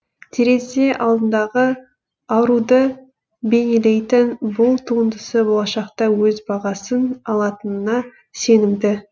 терезе алдындағы аруды бейнелейтін бұл туындысы болашақта өз бағасын алатынына сенімді